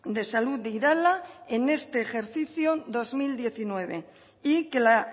de salud de irala en este ejercicio dos mil diecinueve y que la